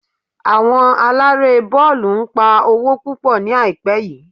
Àwọn Aláré bọ́ọ̀lù ń pa owó púpọ̀ ní àìpẹ́ yìí